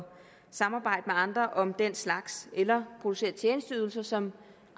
samarbejde med andre om den slags eller producere tjenesteydelser som